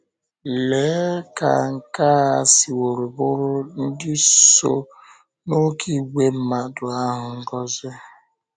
Léé ka nke a siworo bụụrụ ndị so ‘n’oké ìgwè mmadụ’ ahụ ngọzi!